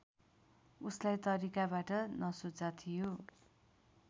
उसलाई तरिकाबाट नसोचा थियो